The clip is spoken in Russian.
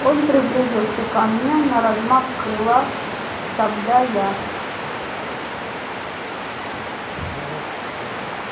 он приблизился ко мне на размах крыла тогда я